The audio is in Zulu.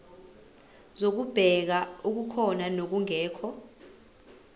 zokubheka okukhona nokungekho